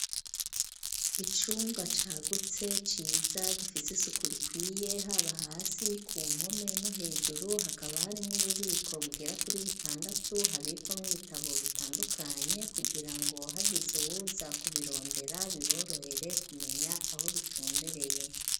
Icumba cagutse ciza gifise isuku rikwiye haba hasi ku npome no hejuru hakaba hari mw'ububiko bugera kuri butandatu habikwamwo ibitabo bitandukanye kugira ngo hagize uwuza kubirondera biborohere kumenya aho bitumbereye.